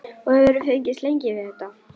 Og hefurðu fengist lengi við þetta?